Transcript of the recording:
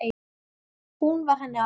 Hún var henni allt.